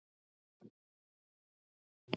Ætli hann sé ekki fyrir sex?